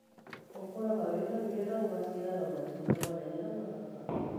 Ũkũraga wina hinya na Ũgaciaraga matunda manene na mathaka